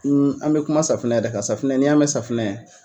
an bɛ kuma safunɛ yɛrɛ kan safunɛ n'i y'a mɛn safunɛ.